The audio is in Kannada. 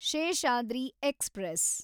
ಶೇಷಾದ್ರಿ ಎಕ್ಸ್‌ಪ್ರೆಸ್